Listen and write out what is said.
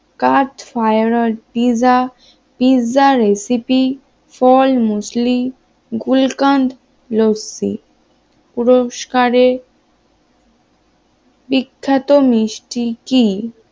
কাঠ fire or pizza pizza recipe, ফল muesli, gulkand lassi পুস্করের বিখ্যাত মিষ্টি কি?